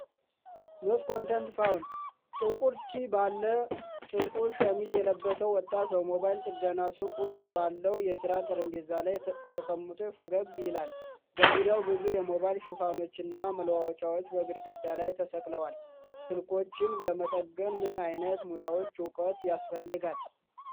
[NO CONTENT FOUND]ጥቁር ቲ ባለ ጥቁር ሸሚዝ የለበሰ ወጣት በሞባይል ጥገና ሱቅ ውስጥ ባለው የስራ ጠረጴዛ ላይ ተቀምጦ ፈገግ ይላል። በዙሪያው ብዙ የሞባይል ሽፋኖችና መለዋወጫዎች በግድግዳ ላይ ተሰቅለዋል። ስልኮችን ለመጠገን ምን ዓይነት ሙያዊ ዕውቀት ያስፈልጋል?